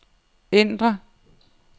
ændr